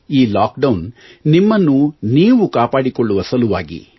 ಈ lockdown ನಿಮ್ಮನ್ನು ನೀವು ಕಾಪಾಡಿಕೊಳ್ಳುವ ಸಲುವಾಗಿ